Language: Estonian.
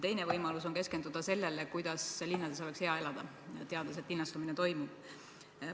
Teine võimalus on keskenduda sellele, kuidas linnas oleks hea elada, teades, et linnastumine toimub.